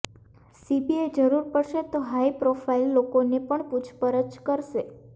CBI જરૂર પડશે તો હાઈપ્રોફાઈલ લોકોની પણ પૂછપરછ કરશે